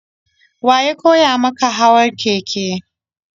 Wa ya koya maka hawa keke?